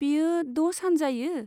बेयो द' सान जायो?